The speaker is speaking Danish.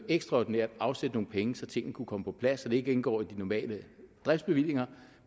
ekstraordinært afsætte nogle penge så tingene kunne komme på plads så det ikke indgår i de normale driftsbevillinger